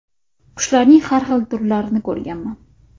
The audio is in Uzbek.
Qushlarning har xil turlarini ko‘rganman.